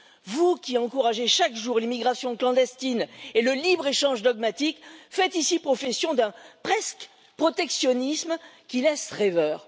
Vous qui encouragez chaque jour l'immigration clandestine et le libre échange dogmatique, vous faites ici profession d'un presque protectionnisme qui laisse rêveur.